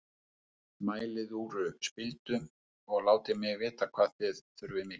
Mælið út spildu og látið mig vita hvað þér þurfið mikið.